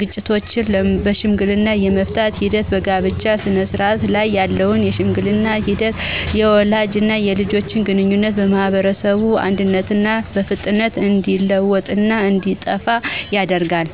ግጭቶችን በሽምግልና የመፍታት ሂደት፣ በጋብቻ ስነስርዓት ላይ ያለውን የሽምግልና ሂደት፣ የወላጅና የልጅ ግንኙነትና የማህበረሰብ አንድነትና በፍጥነት እንዲለወጥና እንዲጠፋ ያደርጋል።